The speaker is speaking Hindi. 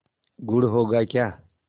गुड़ होगा क्या